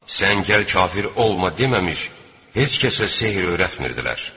Sən gəl kafir olma deməmiş, heç kəsə sehr öyrətmirdilər.